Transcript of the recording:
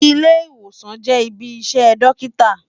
Ilé-Iwósán jè ibi iṣè Dòkitá